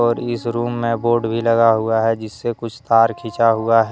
और इस रूम में बोर्ड भी लगा हुआ है जिससे कुछ तार खींचा हुआ है।